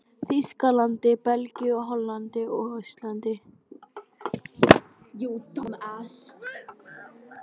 Þýskalandi, Belgíu, Hollandi og á Íslandi.